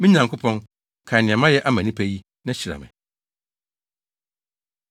Me Nyankopɔn, kae nea mayɛ ama nnipa yi, na hyira me.